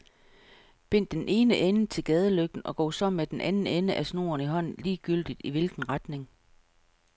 Bind den ene ende til gadelygten og gå så med den anden ende af snoren i hånden ligegyldigt i hvilken retning.